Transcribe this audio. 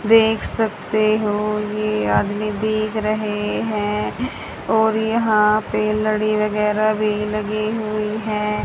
देख सकते हो ये आदमी भीग रहे हैं और यहां पे लड़ी वगैरह भी लगी हुई हैं।